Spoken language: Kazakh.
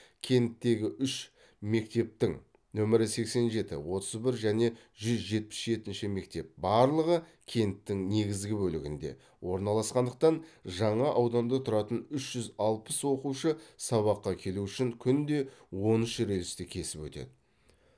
кенттегі үш мектептің нөмірі сексен жеті отыз бір және жүз жетпіс жетінші мектеп барлығы кенттің негізгі бөлігінде орналасқандықтан жаңа ауданда тұратын үш жүз алпыс оқушы сабаққа келу үшін күнде он үш рельсті кесіп өтеді